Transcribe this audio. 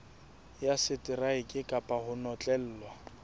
ya seteraeke kapa ho notlellwa